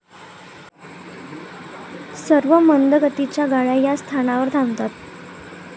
सर्व मंद गतीच्या गाड्या या स्थानावर थांबतात.